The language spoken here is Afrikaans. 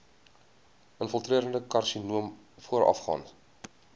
infiltrerende karsinoom voorafgaan